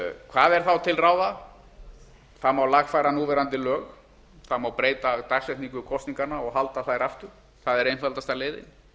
hvað er þá til ráða það má lagfæra núverandi lög það má breyta dagsetningu kosninganna og halda þær aftur það er einfaldasta leiðin